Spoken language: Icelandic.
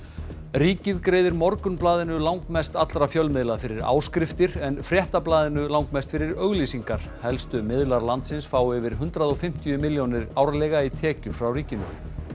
ríkið greiðir Morgunblaðinu langmest allra fjölmiðla fyrir áskriftir en Fréttablaðinu langmest fyrir auglýsingar helstu miðlar landsins fá yfir hundrað og fimmtíu milljónir árlega í tekjur frá ríkinu